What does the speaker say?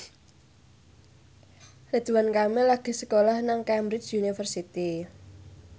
Ridwan Kamil lagi sekolah nang Cambridge University